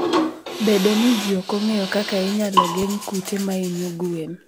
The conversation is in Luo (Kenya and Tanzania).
Bedo ni ji ok ong'eyo kaka inyalo geng' kute mahinyo gwen.